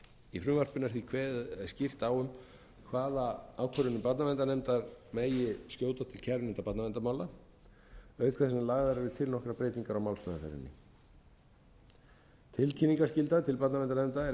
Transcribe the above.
í frumvarpinu er því kveðið skýrt á um hvaða ákvörðunum barnaverndarnefndar megi skjóta til kærunefndar barnaverndarmála auk þess sem lagðar eru til nokkrar breytingar á málsmeðferðinni tilkynningarskylda til barnaverndarnefnda er einn